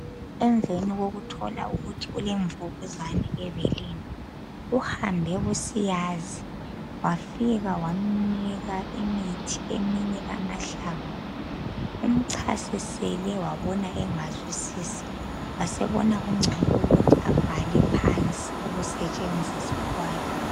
Emveni kokuthola ukuthi ulemvukuzane ebeleni uhambe kusiyazi wafika waminika imithi eminye amahlamvu. Umchasisele wabona engazwisisi wasebhala phansi ukusetshenziswa kwayo.